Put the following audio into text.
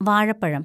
വാഴപ്പഴം